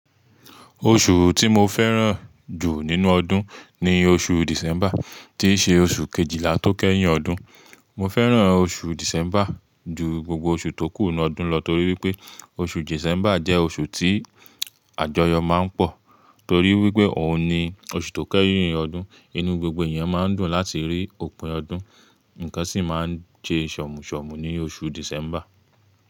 Oṣù tí mo fẹ́ràn jù nínú ọdún ni oṣù December tí ṣe oṣù Kejìlá tó kẹ́yìn ọdún. Mo fẹ́ràn oṣù December ju gbogbo oṣù tókù nnu ọdún lọ torí wípé oṣù December jẹ́ oṣù tí àjọyọ̀ máa ń pọ̀. Torí wípé òun ni oṣù tó kẹ́yìn ọdún, inú gbogbo èèyàn máa ń dùn láti rí òpin ọdún, ǹkan sì máa ń je ṣọ̀mọ́ṣọ̀mọ́ ni oṣù December.